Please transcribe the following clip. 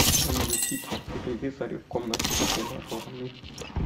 замьютить на телевизоре в комнате с тренажерами